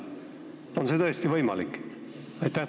On see tõesti võimalik?